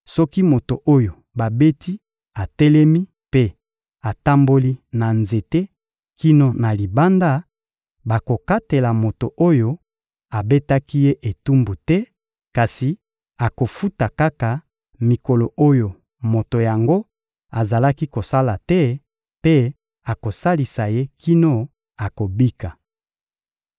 soki moto oyo babeti atelemi mpe atamboli na nzete kino na libanda, bakokatela moto oyo abetaki ye etumbu te, kasi akofuta kaka mikolo oyo moto yango azalaki kosala te mpe akosalisa ye kino akobika.